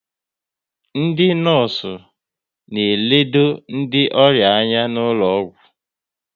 Ndị nọọsụ na elode ndị ọrịa anya n'ụlọgwụ